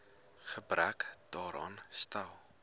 gebrek daaraan stel